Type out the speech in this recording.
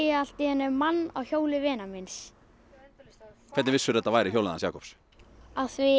allt í einu mann á hjóli vinar míns hvernig vissir þetta væri hjólið hans Jakobs af því